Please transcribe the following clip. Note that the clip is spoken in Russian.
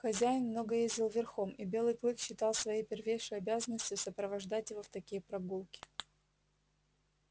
хозяин много ездил верхом и белый клык считал своей первейшей обязанностью сопровождать его в такие прогулки